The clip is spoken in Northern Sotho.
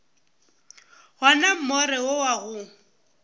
gona more wo wa go